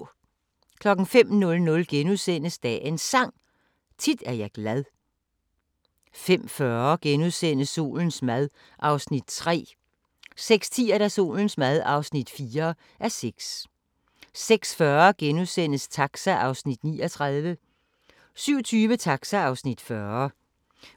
05:00: Dagens Sang: Tit er jeg glad * 05:40: Solens mad (3:6)* 06:10: Solens mad (4:6) 06:40: Taxa (39:56)* 07:20: Taxa (40:56)